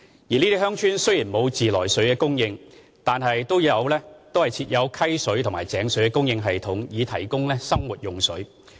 這些鄉村雖然沒有自來水供應，但都設有溪水或井水的供應系統以提供生活用水。